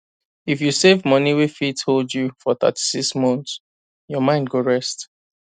if you save money wey fit hold you for 36 months your mind go rest